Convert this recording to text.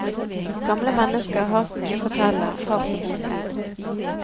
Gamle mennesker har så mye å fortelle, har så god tid.